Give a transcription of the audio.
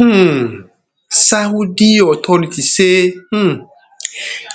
um saudi authorities say um